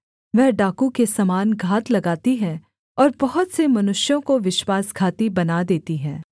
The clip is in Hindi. वह डाकू के समान घात लगाती है और बहुत से मनुष्यों को विश्वासघाती बना देती है